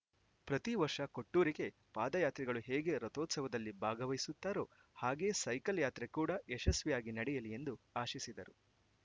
ಪ್ರತಿ ವರ್ಷ ಕೊಟ್ಟೂರಿಗೆ ಪಾದಯಾತ್ರಿಗಳು ಹೇಗೆ ರಥೋತ್ಸವದಲ್ಲಿ ಭಾಗವಹಿಸುತ್ತಾರೊ ಹಾಗೆಯೇ ಸೈಕಲ್‌ ಯಾತ್ರೆ ಕೂಡಾ ಯಶಸ್ವಿಯಾಗಿ ನಡೆಯಲಿ ಎಂದು ಆಶಿಸಿದರು